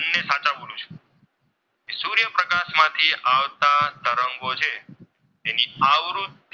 એની આવૃત્તિ,